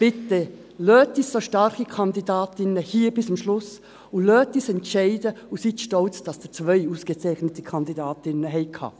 Bitte lassen Sie uns so starke Kandidatinnen hier im Grossen Rat bis zum Schluss, lassen Sie uns entscheiden und seien Sie stolz, dass Sie zwei ausgezeichnete Kandidatinnen hatten.